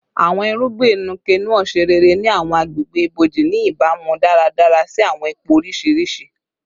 Awọn irugbin Nuke-Noh ṣe rere ni awọn agbegbe iboji, ni ibamu daradara si awọn ipo oriṣiriṣi